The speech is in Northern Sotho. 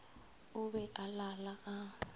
o be a lala a